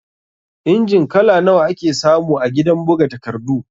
Injin kala nawa ake samu a gidan buga takardu?